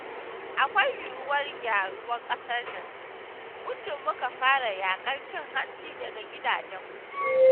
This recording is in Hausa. Akwai yuwuwar gyaruwar ƙasar nan, muddun muka fara yaƙar cin hanci daga gidajenmu.